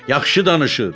Yaxşı danışır.